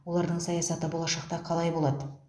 олардың саясаты болашақта қалай болады